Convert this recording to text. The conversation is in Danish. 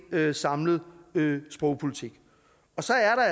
samlet sprogpolitik så er